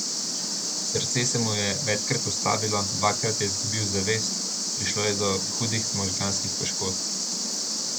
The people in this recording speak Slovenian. Srce se mu je večkrat ustavilo, dvakrat je izgubil zavest, prišlo je do hudih možganskih poškodb.